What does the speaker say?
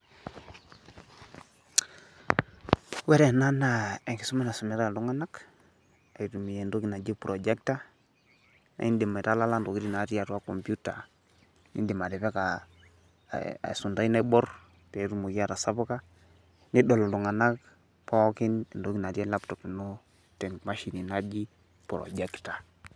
Ore ena naa enkisoma naisumitai iltung'ana aitumia entoki naji projector naa indim aitalala intokitin natii atua kompyuta nindim atipika esuntai naibor, petumoki atasapuka, nedol iltung'ana pookin entoki natii laptop ino temashini naji projector